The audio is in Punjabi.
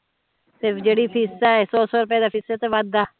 ਤੇ ਜੇਹੜੀ ਫੀਸਾਂ ਏ ਦੋ ਸੋ ਸੋ ਰਪੇਆ ਤੇ ਫੀਸਾਂ ਚ ਵੱਧ ਦਾ